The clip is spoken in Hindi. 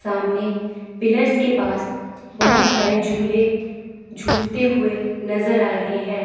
सामने पिलर्स के पास बहोत सारे झूले झूलते हुए नजर आ रहे हैं।